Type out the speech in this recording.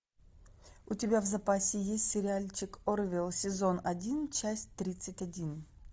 у тебя в запасе есть сериальчик орвил сезон один часть тридцать один